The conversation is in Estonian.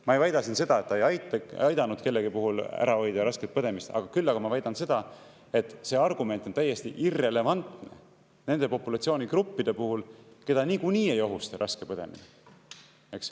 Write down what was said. Ma ei väida siin seda, et ta ei aidanud kellegi puhul ära hoida rasket põdemist, küll aga ma väidan seda, et see argument on täiesti irrelevantne nende populatsioonigruppide puhul, keda niikuinii ei ohusta raske põdemine.